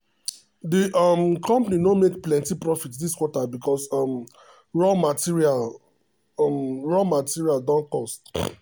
the um company no make plenty profit this quarter because um raw material um raw material um don cost.